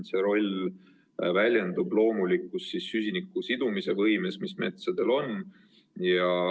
See roll väljendub loomulikus süsiniku sidumise võimes, mis metsal on.